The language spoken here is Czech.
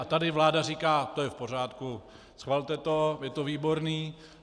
A tady vláda říká - to je v pořádku, schvalte to, je to výborné.